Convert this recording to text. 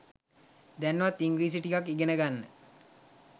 දැන්වත් ඉංග්‍රීසි ටිකක් ඉගෙන ගන්න.